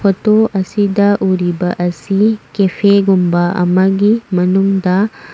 photo ꯑꯁꯤꯗ ꯎꯔꯤꯕ ꯑꯁꯤ ꯀꯦꯐꯦ ꯒꯨꯝꯕ ꯑꯃꯒꯤ ꯃꯅꯨꯡꯗ --